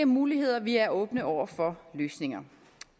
muligheder vi er åbne over for løsninger